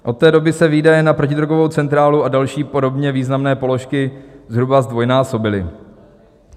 Od té doby se výdaje na protidrogovou centrálu a další podobně významné položky zhruba zdvojnásobily.